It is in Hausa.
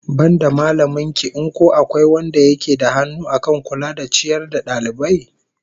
Banda mallamin ki in ko akwai wanda yake da hannu akan kula da ciyar da dalibai?